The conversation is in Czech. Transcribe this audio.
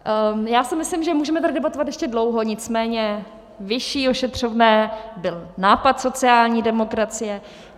Já si myslím, že můžeme tady debatovat ještě dlouho, nicméně vyšší ošetřovné byl nápad sociální demokracie.